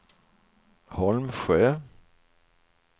Holmsjö